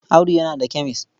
Audu yana da kemes.